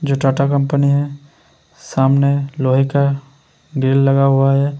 जो टाटा कंपनी है सामने लोहे का रेल लगा हुआ हैं।